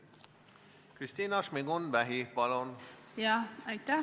Kristina Šmigun-Vähi, palun!